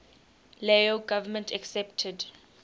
lao government accepted